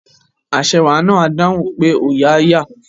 Aṣẹwà náà á dáhùn pé òòyà á yà